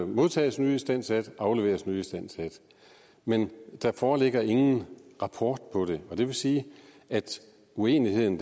modtages nyistandsat og afleveres nyistandsat men der foreligger ingen rapport om det og det vil sige at uenigheden